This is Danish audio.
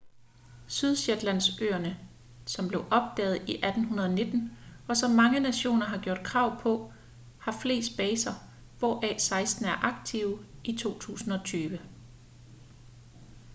sydshetlandsøerne som blev opdaget i 1819 og som mange nationer har gjort krav på har flest baser hvoraf seksten er aktive i 2020